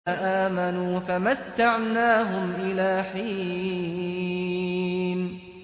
فَآمَنُوا فَمَتَّعْنَاهُمْ إِلَىٰ حِينٍ